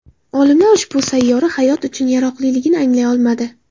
Olimlar ushbu sayyora hayot uchun yaroqliligini aniqlay olmadi.